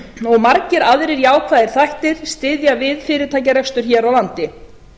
og margir aðrir jákvæðir þættir styðja við fyrirtækjarekstur hér á landi